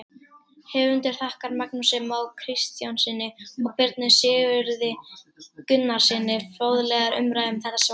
Höfundur þakkar Magnúsi Má Kristjánssyni og Birni Sigurði Gunnarssyni fróðlegar umræður um þetta svar.